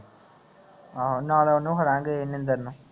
ਆਹੋ ਨਾਲ ਉਹਨੂੰ ਨਿੰਦਰ ਨੂੰ